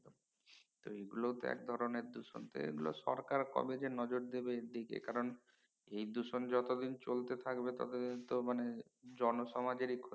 তো ঐ গুলো এক ধরনের দুষন তো সরকার কবে যে নজর দিবে এর দিকে কারণ এই দূষণ যত দিন চলতে থাকবে তত দিন তো মানে জন সমাজেরই ক্ষতি